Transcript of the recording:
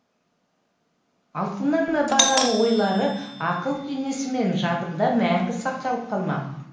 алтыннан да бағалы ойлары ақыл кеңесі менің жадымда мәңгі сақталып қалмақ